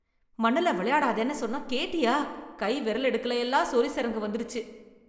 மண்ணுல வெளையாடாதேன்னு சொன்னா கேட்டியா... கை விரலிடுக்குலயெல்லாம் சொறி சிரங்கு வந்துடுச்சு...